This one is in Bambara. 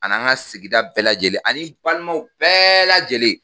Ani an ka sigida bɛɛ lajɛlen ani balimaw bɛɛ lajɛlen